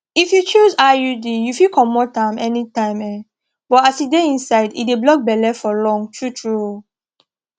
if you choose iud you fit comot am anytime um but as e dey inside e dey block belle for long true true um